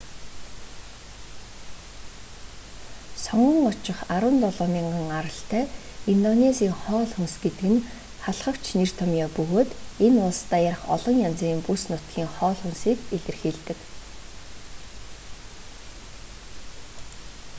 сонгон очих 17,000 аралтай индонезийн хоол хүнс гэдэг нь халхавч нэр томьёо бөгөөд энэ улс даяарх олон янзын бүс нутгийн хоол хүнсийг илэрхийлдэг